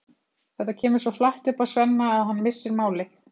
Þetta kemur svo flatt upp á Svenna að hann missir málið.